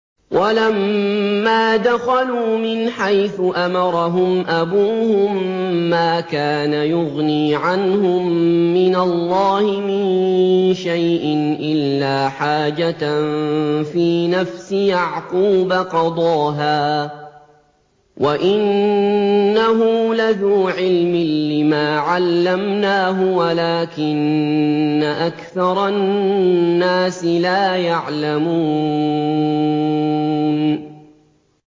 وَلَمَّا دَخَلُوا مِنْ حَيْثُ أَمَرَهُمْ أَبُوهُم مَّا كَانَ يُغْنِي عَنْهُم مِّنَ اللَّهِ مِن شَيْءٍ إِلَّا حَاجَةً فِي نَفْسِ يَعْقُوبَ قَضَاهَا ۚ وَإِنَّهُ لَذُو عِلْمٍ لِّمَا عَلَّمْنَاهُ وَلَٰكِنَّ أَكْثَرَ النَّاسِ لَا يَعْلَمُونَ